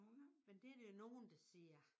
Men det er der jo nogen der siger